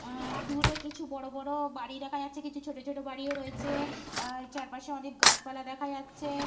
আ দূরে কিছু বড় বড় বাড়ি দেখা যাচ্ছে। কিছু ছোট ছোট বাড়িও রয়েছে। আ চারপাশে অনেক গাছপালা দেখা যাচ্ছে।